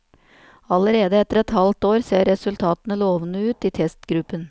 Allerede etter et halvt år ser resultatene lovende ut i testgruppen.